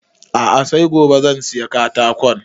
A'a sai gobe zan saya katakon